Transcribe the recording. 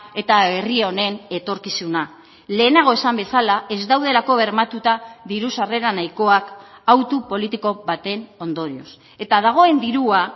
eta herri honen etorkizuna lehenago esan bezala ez daudelako bermatuta diru sarrera nahikoak autu politiko baten ondorioz eta dagoen dirua